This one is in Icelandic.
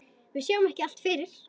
Við sjáum ekki allt fyrir.